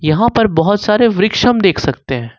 यहां पर बहुत सारे वृक्ष हम देख सकते हैं।